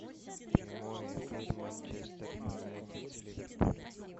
прямой эфир манчестер юнайтед с ливерпулем